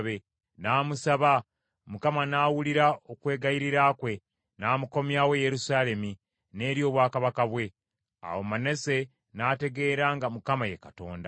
N’amusaba, Mukama n’awulira okwegayirira kwe, n’amukomyawo e Yerusaalemi n’eri obwakabaka bwe. Awo Manase n’ategeera nga Mukama ye Katonda.